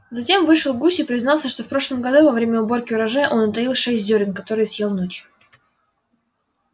затем вышел гусь и признался что в прошлом году во время уборки урожая он утаил шесть зёрен которые съел ночью